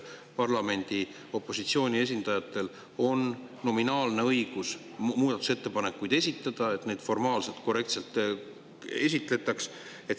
Parlamendi opositsiooni esindajatel on nominaalne õigus muudatusettepanekuid esitada ja neid tuleks formaalselt korrektselt esitleda.